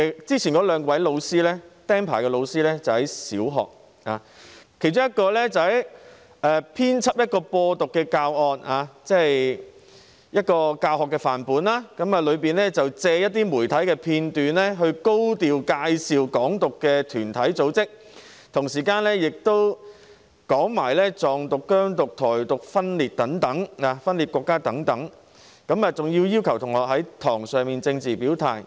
之前兩名被"釘牌"的老師在小學任教，其中一人編輯了一個"播獨"教案範本，借一些媒體片段，高調介紹"港獨"團體和組織，同時又提及"藏獨"、"疆獨"、"台獨"分裂國家等，更要求學生在課堂上作政治表態。